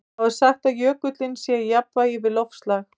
Þá er sagt að jökullinn sé í jafnvægi við loftslag.